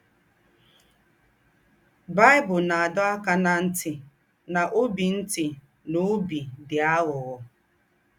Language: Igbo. Baị́bụ̀l ná-àdọ̀ ákà ná ńtì ná óbì ńtì ná óbì dì àghụ̀ghọ̀.